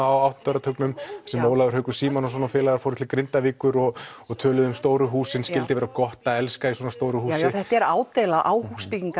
á áttunda áratugnum sem Ólafur Haukur Símonarson og félagar fóru til Grindavíkur og og töluðu um stóru húsin vera gott að elska í svona stóru húsi já þetta er ádeila á